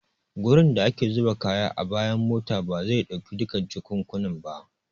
Gurin da ake zuba kaya a bayan mota bazai dauki duka jakukkunan ba.